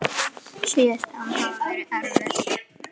Síðustu árin hafa verið erfið.